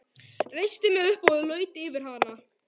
Reisti mig upp og laut yfir hana.